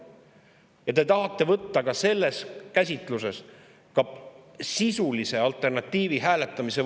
Ja te tahate võtta selle käsitlusega ka võimaluse sisulist alternatiivi hääletada.